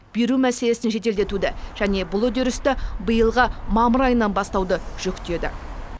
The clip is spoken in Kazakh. беру мәселесін жеделдетуді және бұл үдерісті биылғы мамыр айынан бастауды жүктеді